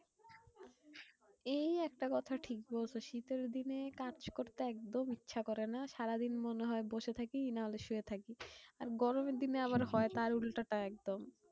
এই একটা কথা ঠিক বলছো। শীতের দিনে কাজ করতে একদম ইচ্ছে করে না। সারাদিন মনে হয় বসে থাকি না হলে শুয়ে থাকি। আর গরমের দিনে আবার হয় তার উল্টো টা একদম।